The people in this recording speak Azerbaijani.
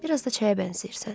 Biraz da çaya bənzəyirsən.